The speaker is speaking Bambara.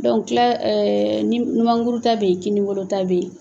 kila numankuru ta bɛ yen kininbolo ta bɛ yen